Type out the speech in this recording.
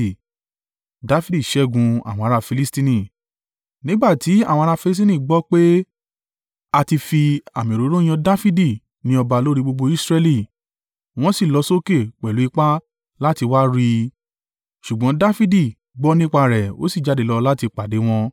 Nígbà tí àwọn ará Filistini gbọ́ pé a ti fi àmì òróró yàn Dafidi ní ọba lórí gbogbo Israẹli, wọ́n sì lọ sókè pẹ̀lú ipá láti wá a rí, ṣùgbọ́n Dafidi gbọ́ nípa rẹ̀ ó sì jáde lọ láti pàdé wọn.